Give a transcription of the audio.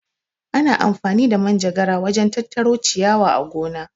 Ana amfani da Manjagara wajen tattaro ciyawa a gona.